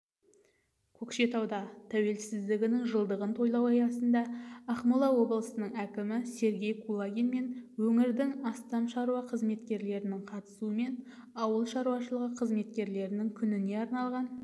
көкшетауда тәуелсіздігінің жылдығын тойлау аясында ақмола облысының әкімі сергей кулагин мен өңірдің астам шаруа қызметкерлерінің қатысуымен ауыл шаруашылығы қызметкерлерінің күніне арналған